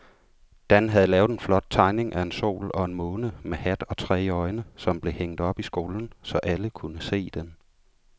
Dan havde lavet en flot tegning af en sol og en måne med hat og tre øjne, som blev hængt op i skolen, så alle kunne se den.